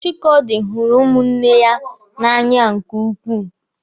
Chikaodi hụrụ ụmụnne ya n'anya nke ukwuu.